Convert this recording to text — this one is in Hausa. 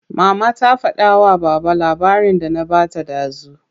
Mama ta fada wa baba labarin da na bata dazu.